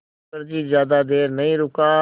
मुखर्जी ज़्यादा देर नहीं रुका